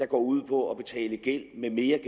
går ud på at betale gæld med mere